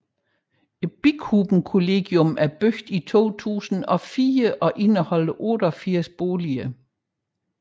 Bikubenkollegiet er bygget i 2004 og indeholder 88 boliger